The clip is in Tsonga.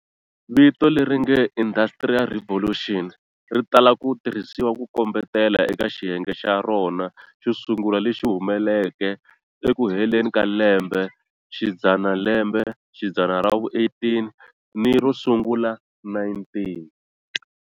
Vito leri nge"Industrial Revolution" ri tala ku tirhisiwa ku kombetela eka xiyenge xa rona xo sungula lexi humeleleke eku heleni ka lembe xidzanalembe xidzana ra vu-18 ni ro sungula19.